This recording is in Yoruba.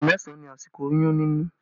Oṣù mẹ́sàn ni àsìkò oyún nínú